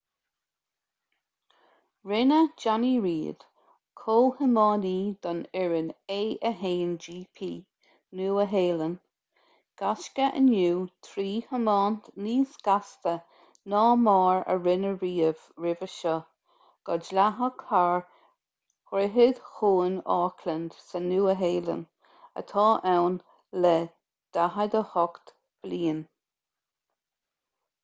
rinne jonny reid comhthiománaí don fhoireann a1gp nua-shéalainn gaisce inniu trí thiomáint níos gasta ná mar a rinneadh riamh roimhe seo go dleathach thar dhroichead chuan auckland sa nua shealainn atá ann le 48 bliain